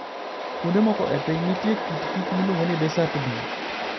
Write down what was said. Kuonde moko e piny, nitie kit kich miluongo ni desert bee.